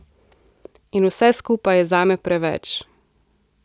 In vse skupaj je zame preveč.